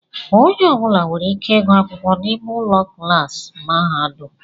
Onye ọbula nwèrè ike ịgụ akwụkwọ n'ime ụlọ klaasi mahadum.